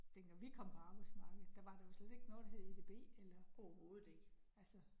Dengang vi kom på arbejdsmarkedet, der var der jo slet ikke noget, der hed EDB eller. Altså